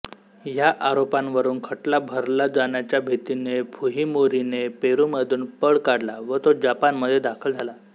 ह्या आरोपांवरून खटला भरला जाण्याच्या भितीने फुहिमोरीने पेरूमधून पळ काढला व तो जपानमध्ये दाखल झाला